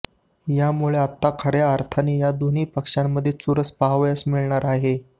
यामुळे आता खर्या अर्थाने या दोन्ही पक्षांमध्ये चुरस पाहावयास मिळणार आहे